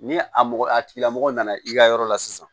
Ni a mɔgɔ a tigila mɔgɔ nana i ka yɔrɔ la sisan